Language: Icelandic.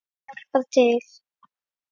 Hjálpar til.